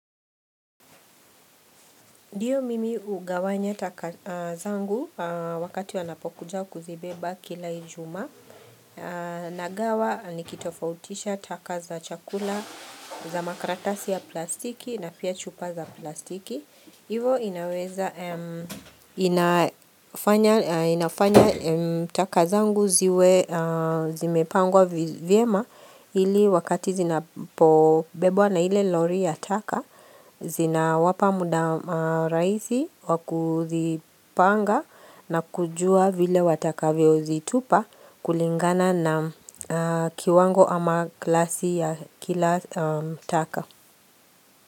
Ndio mimi hugawanya taka zangu wakati wanapokuja kuzibeba kila ijumaa. Nagawa nikitofautisha taka za chakula za makaratasi ya plastiki na pia chupa za plastiki. Hivo inafanya taka zangu ziwe zimepangwa vyema ili wakati zinapobebwa na ile lori ya taka, zina wapa muda rahisi wakuzipanga na kujua vile wataka vyo zitupa kulingana na kiwango ama klasi ya kila taka.